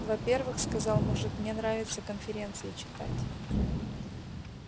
во-первых сказал мужик мне нравится конференции читать